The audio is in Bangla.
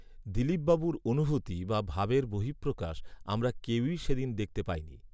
দিলীপবাবুর অনুভূতি বা ভাবের বহির্প্রকাশ আমরা কেউই সে দিন দেখতে পাইনি